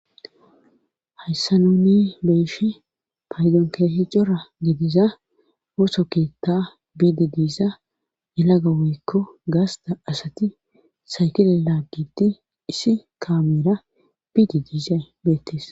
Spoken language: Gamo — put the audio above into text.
hayssa nuni be'eshin paydon keehi cora gidiza ooso keetta biidi diiza elaga woykko gaasta asati saykile laaggiti isi kaamera biidi diizay beettis